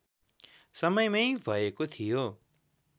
समयमै भएको थियो